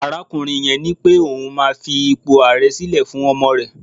arakunrin yen nipé oun ma fi ipo aare sile fún ọmọ rẹ